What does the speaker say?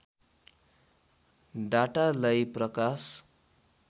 डाटालाई प्रकाश